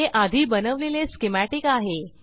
हे आधी बनवलेले स्कीमॅटिक आहे